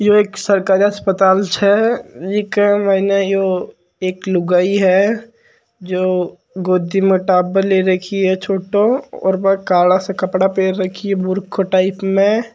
ये एक सरकारी अस्पताल छे एक ही एक लुगाई है जो गोदी मे टाबर ले राखी छोटो सो और काला सा कपड़ा पहन राखी है बुरखा टाइप मे--